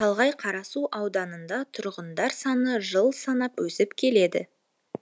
шалғай қарасу ауданында тұрғындар саны жыл санап өсіп келеді